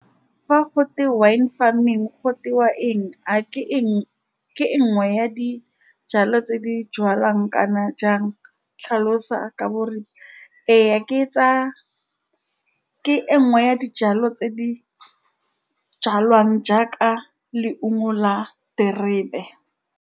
Fa gote, wine farming go eng, a ke , a ke nngwe ya dijalo tse di jalwang kana jang, tlhalosa ka . Ee, ke tsa, ke e nngwe ya dijalo tse di jalwang jaaka leungo la terebe.